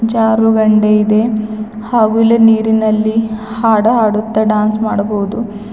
ಜಾರುಬಂಡೆ ಇದೆ ಹಾಗೂ ಇಲ್ಲಿ ನೀರಿನಲ್ಲಿ ಹಾಡಹಾಡುತ್ತಾ ಡಾನ್ಸ್ ಮಾಡಬಹುದು.